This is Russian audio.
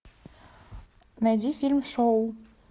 найди фильм шоу